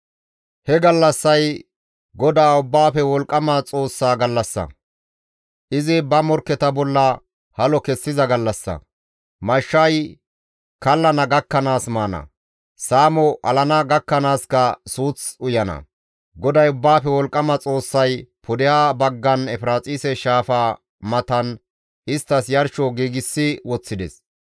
He gallassay GODAA Ubbaafe Wolqqama Xoossa gallassa; izi ba morkketa bolla halo kessiza gallassa; mashshay kallana gakkanaas maana; saamo alana gakkanaaska suuth uyana; GODAY Ubbaafe Wolqqama Xoossay pudeha baggan Efiraaxise Shaafa matan isttas yarsho giigsi woththides.